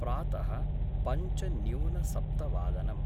प्रातः पञ्च न्यून सप्तवादनम्